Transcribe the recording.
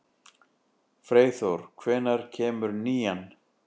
Freyþór, hvenær kemur nían?